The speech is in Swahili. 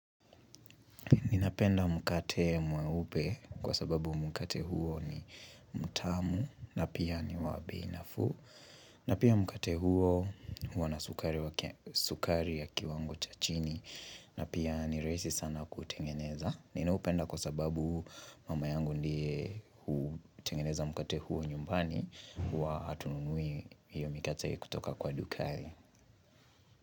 Ninapenda mkate mweupe kwa sababu mkate huo ni mtamu na pia ni wa bei nafuu na pia mkate huo huwa na sukari ya kiwango cha chini na pia ni rahisi sana kutengeneza Ninaupenda kwa sababu mama yangu ndiye hutengeneza mkate huo nyumbani huwa hatununui hiyo mikate kutoka kwa dukani.